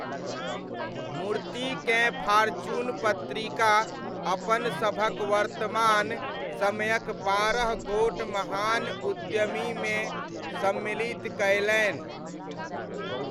मूर्तिकेँ Fortune पत्रिका अपन सभक वर्तमान समयक बारह गोट महान उद्यमीमे सम्मिलित कयलनि।